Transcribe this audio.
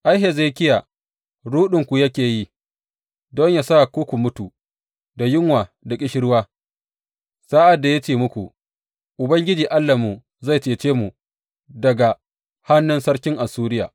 Ai, Hezekiya, ruɗinku yake yi, don yă sa ku mutu da yunwa da ƙishirwa sa’ad da yake ce muku, Ubangiji Allahnmu zai cece mu daga hannun sarkin Assuriya.’